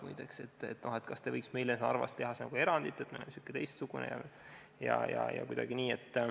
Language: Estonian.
Näiteks küsiti, kas neile võiks teha Narvas erandi, sest nad on natuke teistsugused või kuidagi nii.